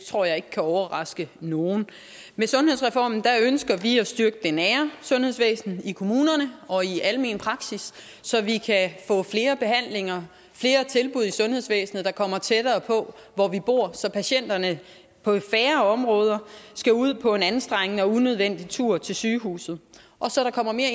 tror jeg ikke kan overraske nogen med sundhedsreformen ønsker vi at styrke det nære sundhedsvæsen i kommunerne og i almen praksis så vi kan få flere behandlinger flere tilbud i sundhedsvæsenet der kommer tættere på hvor vi bor så patienterne på færre områder skal ud på en anstrengende og unødvendig tur til sygehuset og så der kommer mere